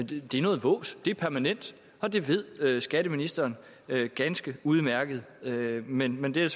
det er noget vås det er permanent og det ved skatteministeren ganske udmærket men men det er